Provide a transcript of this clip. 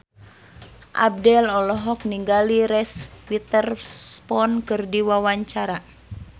Abdel olohok ningali Reese Witherspoon keur diwawancara